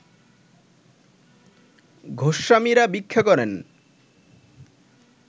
গোস্বামীরা ভিক্ষা করেন